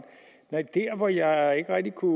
der hvor jeg ikke rigtig kunne